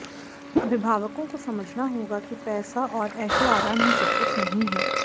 अभिभावकों को समझना होगा कि पैसा और ऐशोआराम ही सबकुछ नहीं है